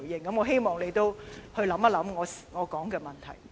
我希望局長可以思考我提到的問題。